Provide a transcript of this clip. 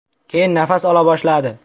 Keyin nafas ola boshladi.